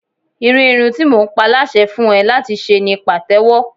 Irú irun tí mo ń pa láṣẹ fún ẹ láti ṣe ni Pàtẹ́wọ́.